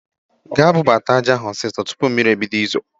Ga bubata Aja ahu osiso tupu mmiri ebido izo!